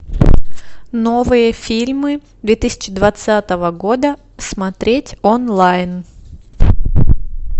новые фильмы две тысячи двадцатого года смотреть онлайн